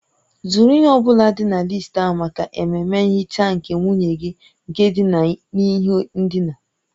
Zụrụ ihe ọ bụla dị na listi ahụ maka ememe nhicha nke nwunye gị nke dina n'ihe ndina